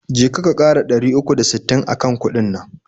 Je ka, ka ƙara dari uku da sittin akan kuɗin nan.